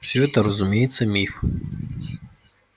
все это разумеется миф